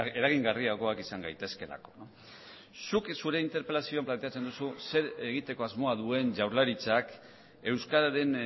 eragingarriagoak izan gaitezkeelako zuk zure interpelazioan planteatzen duzu zer egiteko asmoa duen jaurlaritzak euskararen